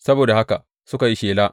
Saboda haka suka yi shela.